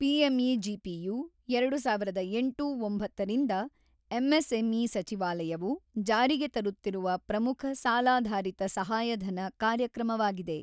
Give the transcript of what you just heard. ಪಿಎಂಇಜಿಪಿಯು ಎರಡು ಸಾವಿರದ ಎಂಟು-ಒಂಬತ್ತರಿಂದ ಎಂಎಸ್ಎಂಇ ಸಚಿವಾಲಯವು ಜಾರಿಗೆ ತರುತ್ತಿರುವ ಪ್ರಮುಖ ಸಾಲಾಧಾರಿತ ಸಹಾಯಧನ ಕಾರ್ಯಕ್ರಮವಾಗಿದೆ.